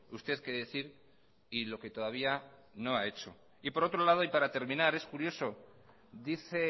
usted que decir y lo que todavía no ha hecho y por otro lado y para terminar es curioso dice